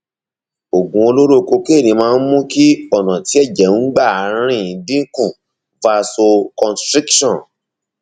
oògùn olóró kokéènì máa ń mú kí ọnà tí ẹjẹ ń gbà rìn dín kù vasoconstriction